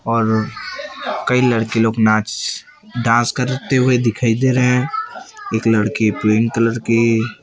और कई लड़के लोग नाच डांस करते हुए दिखाई दे रहे है एक लड़की पिंक कलर की --